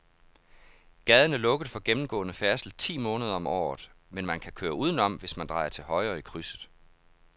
Gaden er lukket for gennemgående færdsel ti måneder om året, men man kan køre udenom, hvis man drejer til højre i krydset.